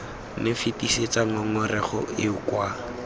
nne fetisetsa ngongorego eo kwa